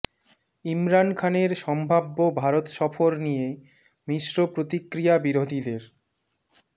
ইমরান খানের সম্ভাব্য ভারত সফর নিয়ে মিশ্র প্রতিক্রিয়া বিরোধীদের